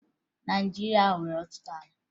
Naịjirịa nwere ọtụtụ ala